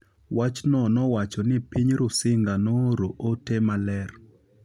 Wachno nowacho ni piny Rusinga nooro ote maler